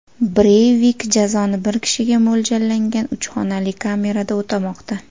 Breyvik jazoni bir kishiga mo‘ljallangan uch xonali kamerada o‘tamoqda.